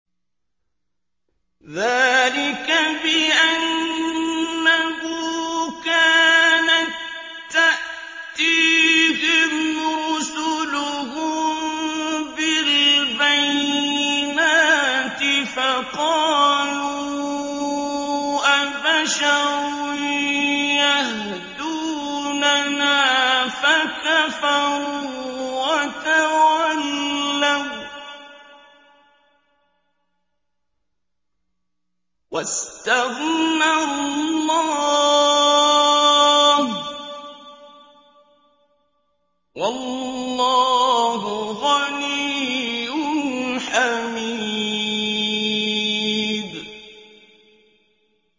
ذَٰلِكَ بِأَنَّهُ كَانَت تَّأْتِيهِمْ رُسُلُهُم بِالْبَيِّنَاتِ فَقَالُوا أَبَشَرٌ يَهْدُونَنَا فَكَفَرُوا وَتَوَلَّوا ۚ وَّاسْتَغْنَى اللَّهُ ۚ وَاللَّهُ غَنِيٌّ حَمِيدٌ